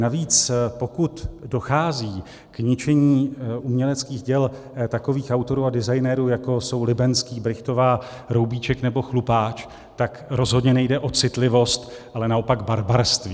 Navíc pokud dochází k ničení uměleckých děl takových autorů a designerů, jako jsou Libenský, Brychtová, Roubíček nebo Chlupáč, tak rozhodně nejde o citlivost, ale naopak barbarství.